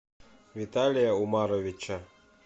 виталия умаровича